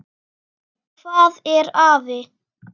Hvað er afi?